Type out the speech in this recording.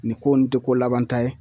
Nin ko nin tɛ ko labanta ye